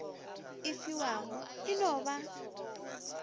e fiwago e no ba